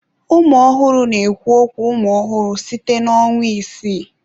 Ụmụ ọhụrụ na-ekwu okwu umụ ọhụrụ site na ọnwa isii.